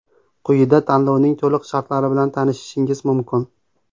Quyida tanlovning to‘liq shartlari bilan tanishishingiz mumkin.